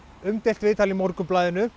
umdeilt viðtal í Morgunblaðinu